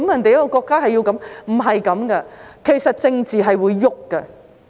不是這樣子的，其實政治是會變的。